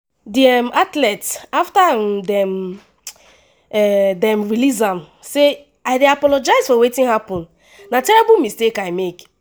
di um athlete afta um dem um dem release am say “i dey apologise for wetin happun na terrible mistake i make.